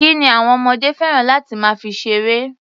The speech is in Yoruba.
Kí ni àwọn ọmọdé fẹ́ràn láti máa fi ṣeré?